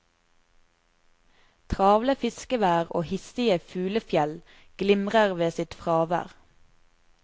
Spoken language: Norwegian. Travle fiskevær og hissige fuglefjell glimrer ved sitt fravær.